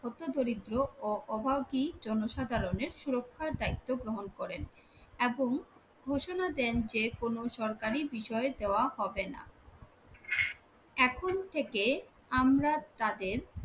হত দরিদ্র ও অভাগী জনসাধারণের সুরক্ষার দায়িত্ব গ্রহণ করেন এবং ঘোষণা দেন যেকোনো সরকারি বিষয় দেওয়া হবে না। এখন থেকে আমরা তাদের